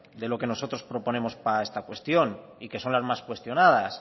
de lo que nosotros proponemos para esta cuestión y que son las más cuestionadas